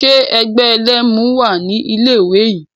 Ṣe ẹgbẹ́ ẹlẹ́mu wà ní ilé ìwé yín?